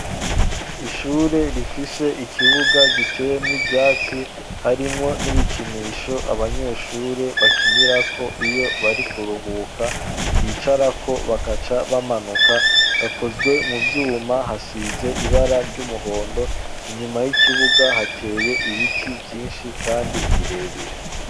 Ishure, rifise ikibuga, giteyemwo ivyatsi; harimwo n'ibikinisho, abanyeshure bakinirako, iyo bari kuruhuka, bicarako, bakaca bamanuka; hakozwe mu vyuma, hasize ibara ry'umuhondo; inyuma y'ikibuga, hateye ibiti vyinshi, kandi birebire.